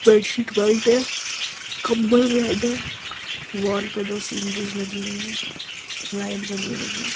bedsheet white है | कम्बल red है | वाल पे दो सीनरी लगी हुई हैं | लाइट जली हुई है |